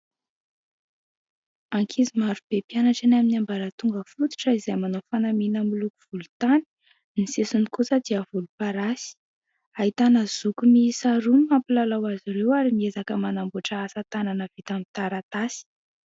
Ankizy marobe mpianatra eny amin'ny ambaratonga fototra izay manao fanamiana miloko volontany. Ny sisiny kosa dia volomparasy ahitana zoky miisa roa mampilalao azy ireo ary miezaka manamboatra asatanana vita amin'ny taratasy.